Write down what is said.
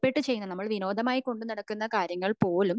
ഇഷ്ടപെട്ട ചെയ്യുന്ന നമ്മൾ വിനോദമായി കൊണ്ട് നടക്കുന്ന കാര്യങ്ങൾ പോലും